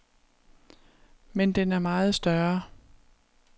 Men den er meget større.